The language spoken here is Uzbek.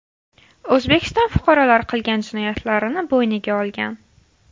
O‘zbekiston fuqarolari qilgan jinoyatlarini bo‘yniga olgan.